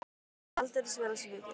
Það var aldeilis vel af sér vikið.